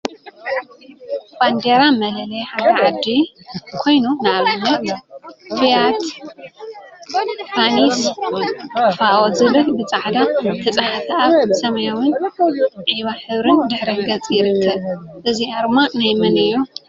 ባንዴራ መለለይ ሓደ ዓዲ ኮይኑ፤ ንአብነት ፍያት ፓኒስ/ፋኦ/ ዝብል ብፃዕዳ ዝተፀሓፈ አብ ሰማያዊን ዒባ ሕብሪን ድሕረ ገፅ ይርከብ፡፡ እዚ አርማ ናይ መን እዩ?